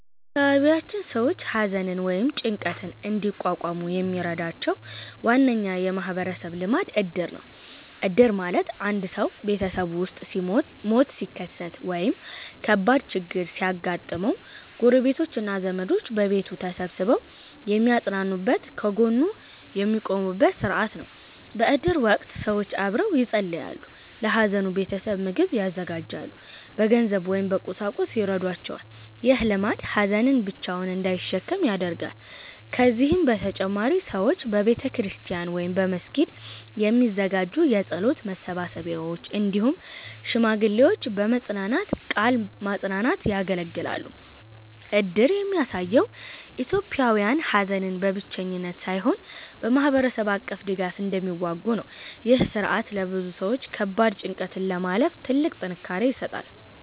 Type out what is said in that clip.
በአካባቢያችን ሰዎች ሐዘንን ወይም ጭንቀትን እንዲቋቋሙ የሚረዳቸው ዋነኛ የማህበረሰብ ልማድ እድር ነው። እድር ማለት አንድ ሰው ቤተሰቡ ውስጥ ሞት ሲከሰት ወይም ከባድ ችግር ሲያጋጥመው፣ ጎረቤቶች እና ዘመዶች በቤቱ ተሰብስበው የሚያጽናኑበት፣ ከጎኑ የሚቆሙበት ሥርዓት ነው። በእድር ወቅት ሰዎች አብረው ይጸልያሉ፣ ለሐዘኑ ቤተሰብ ምግብ ያዘጋጃሉ፣ በገንዘብ ወይም በቁሳቁስ ይረዷቸዋል። ይህ ልማድ ሀዘንን ብቻውን እንዳይሸከም ያደርጋል። ከዚህ በተጨማሪ ሰዎች በቤተክርስቲያን ወይም በመስጊድ የሚዘጋጁ የጸሎት መሰብሰቢያዎች፣ እንዲሁም ሽማግሌዎች በመጽናናት ቃል ማጽናናት ያገለግላሉ። እድር የሚያሳየው ኢትዮጵያውያን ሐዘንን በብቸኝነት ሳይሆን በማህበረሰብ አቀፍ ድጋፍ እንደሚዋጉ ነው። ይህ ሥርዓት ለብዙ ሰዎች ከባድ ጭንቀትን ለማለፍ ትልቅ ጥንካሬ ይሰጣል።